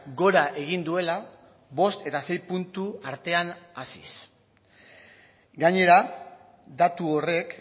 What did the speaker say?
gora egin duela bost eta sei puntu artean haziz gainera datu horrek